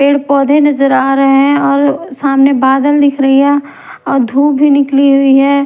पेड़-पौधे नजर आ रहे हैं और सामने बादल दिख रही है और धूप भी निकली हुई है।